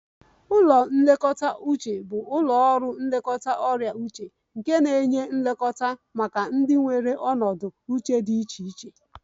Ụlọ nlekọta uche bụ ụlọ ọrụ nlekọta ọrịa uche nke na-enye nlekọta maka ndị nwere ọnọdụ uche dị iche iche